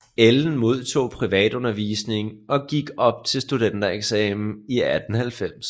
Ellen modtog privatundervisning og gik op til studentereksamen i 1890